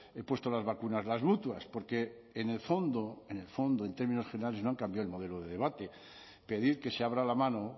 hayan puesto las vacunas las mutuas porque en el fondo en el fondo en términos generales no han cambiado el modelo de debate pedir que se abra la mano